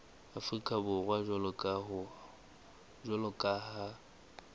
afrika borwa jwalo ka ha